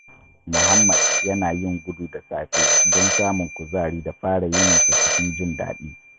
Muhammad yana yin gudu da safe don samun kuzari da fara yininsa cikin jin daɗi.